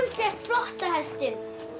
fékk flotta hestinn